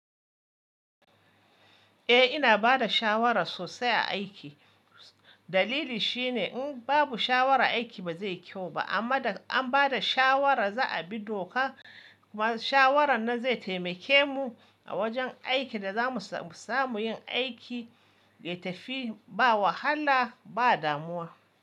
Eh ina bada shawara sosai a aiki. Dalili shine in babu shawara aiki ba zai kyau ba amma da an bada shawara za a bi doka kuma shawarar na zai taimake mu a wajan aikin da za mu samu yin aiki ya tafi ba wahala ba damuwa.